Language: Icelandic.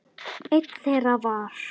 Einn þeirra var